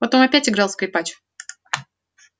потом опять играл скрипач